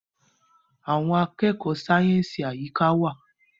Àwọn akẹkọ sáyẹnsì Àyíká wá.